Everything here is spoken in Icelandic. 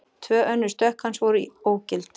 Tvö önnur stökk hans voru ógild